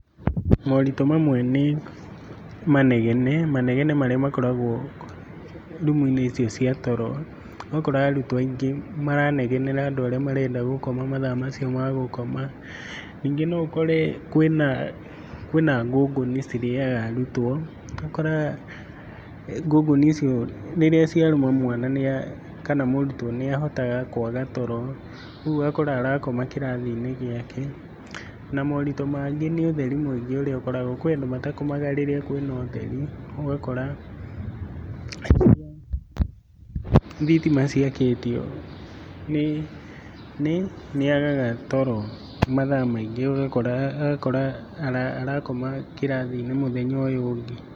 Moritũ mamwe nĩ manegene, manegene marĩa makoragwo rumuinĩ icio cia toro, ũgakora arũtwo aingĩ maranegera andũ arĩa marenda gũkoma mathaa macio magũkoma, ningĩ no ũkore kwĩna ngũngũni cirĩaga arutwo, ũgakora ngũngũni icio nĩ iria ciarũma mwana kana mũrutwo nĩ ahotaga kwaga toro ũguo ũgakora arakoma kĩrathi-inĩ gĩake na moritũ mangĩ nĩ ũtheri ũrĩa ũkoragwo, kũrĩ andũ matakomaga rĩrĩa kwĩna ũtheri ũgakora rĩrĩa thitima ciakĩtio nĩ nĩ agaaga toro mathaa maingĩ agakora arakoma kĩrathi-inĩ mũthenya ũyũ ũngĩ.